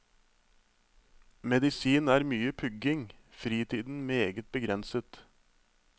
Medisin er mye pugging, fritiden meget begrenset.